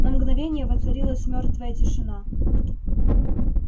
на мгновение воцарилась мёртвая тишина